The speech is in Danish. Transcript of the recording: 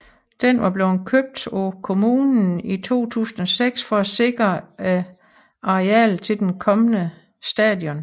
Den var blevet købt af kommunen i 2006 for at sikre et areal til den kommende station